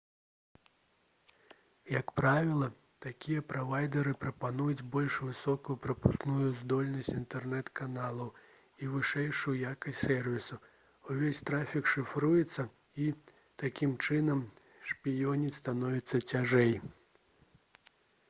як правіла такія правайдары прапануюць больш высокую прапускную здольнасць інтэрнэт-каналаў і вышэйшую якасць сэрвісу увесь трафік шыфруецца і такім чынам шпіёніць становіцца цяжэй